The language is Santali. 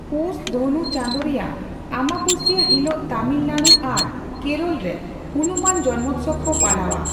ᱯᱳᱥ (ᱫᱷᱚᱱᱩ) ᱪᱟᱸᱫᱳ ᱨᱮᱭᱟᱜ ᱟᱸᱵᱟᱵᱟᱹᱥᱤᱭᱟᱹ ᱦᱤᱞᱳᱜ ᱛᱟᱢᱤᱞᱱᱟᱲᱩ ᱟᱨ ᱠᱮᱨᱚᱞ ᱨᱮ ᱦᱩᱱᱩᱢᱟᱱ ᱡᱚᱱᱢᱳᱛᱥᱚᱵᱽ ᱠᱚ ᱯᱟᱞᱟᱣᱼᱟ ᱾